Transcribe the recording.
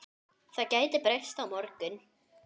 Það gæti breyst á morgun.